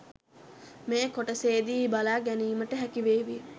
මේ කොටසේදී බලා ගැනීමට හැකිවේවී.